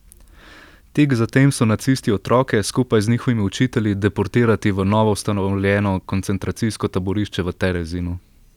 Tik zatem so nacisti otroke, skupaj z njihovimi učitelji, deportirati v novoustanovljeno koncentracijsko taborišče v Terezinu.